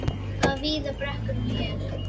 Það eru víðar brekkur en hér.